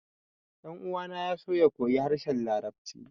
Ɗan uwana ya so ya koyi harshen larabci